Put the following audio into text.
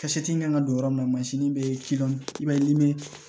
Ka seti kan ka don yɔrɔ min na mansin bɛ ci dɔn i b'a ye ni